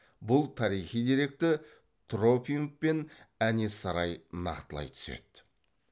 бұл тарихи деректі тропимов пен әнес сарай нақтылай түседі